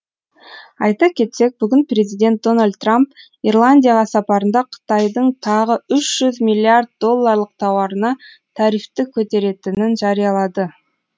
айта кетсек бүгін президент дональд трамп ирландияға сапарында қытайдың тағы үш жүз миллиард долларлық тауарына тарифті көтеретінін жариялады